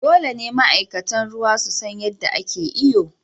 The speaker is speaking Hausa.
Dole ne ma'aikatan ruwa su san yadda ake iyo.